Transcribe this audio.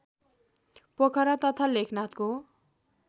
पोखरा तथा लेखनाथको